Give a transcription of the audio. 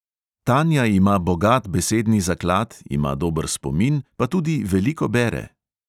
Tanja ima bogat besedni zaklad, ima dober spomin pa tudi veliko bere.